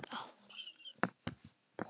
Eftir tíu ár.